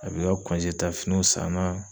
A bɛ i ka ta finiw san na